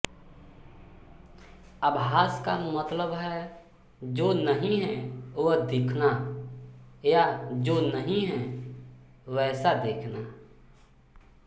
आभास का मतलब है जो नहीं है वह दीखना या जो नहीं है वैसा दीखना